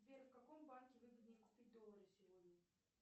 сбер в каком банке выгоднее купить доллары сегодня